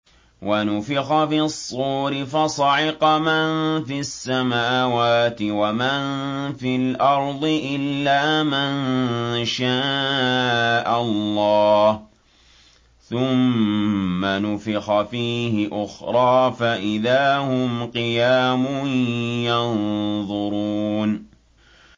وَنُفِخَ فِي الصُّورِ فَصَعِقَ مَن فِي السَّمَاوَاتِ وَمَن فِي الْأَرْضِ إِلَّا مَن شَاءَ اللَّهُ ۖ ثُمَّ نُفِخَ فِيهِ أُخْرَىٰ فَإِذَا هُمْ قِيَامٌ يَنظُرُونَ